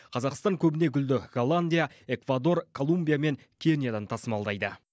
қазақстан көбіне гүлді голландия эквадор колумбия мен кениядан тасымалдайды